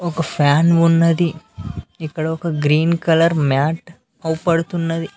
ఒక ఫ్యాన్ ఉన్నది ఇక్కడ ఒక గ్రీన్ కలర్ మ్యాట్ అవ్వ్పడుతున్నది.